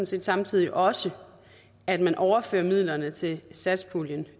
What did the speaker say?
set samtidig også at man overfører midlerne til satspuljen